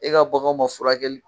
E ka baganw ma furakɛl